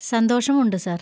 സന്തോഷമുണ്ട് സാർ.